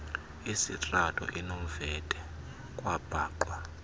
sitrato inomvete kwabhaqwa